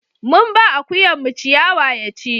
mun ba akuyan mu ciyawa ya ci